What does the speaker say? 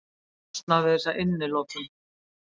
Losnað við þessa innilokun.